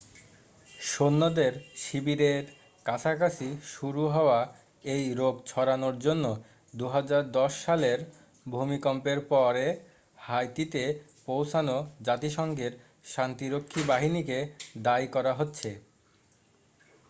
সৈন্যদের শিবিরের কাছাকাছি শুরু হওয়া এই রোগ ছড়ানোর জন্য 2010 সালের ভূমিকম্পের পরে হাইতিতে পৌঁছানো জাতিসংঘের শান্তিরক্ষী বাহিনীকে দায়ী করা হচ্ছে